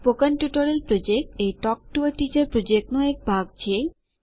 spoken tutorial project એ talk to a teacher પ્રોજેક્ટનો એક ભાગ છે